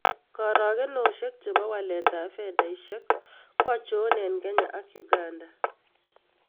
Karagunosiek chebo waletap fedaisiek kwochon eng' Kenya ak Uganda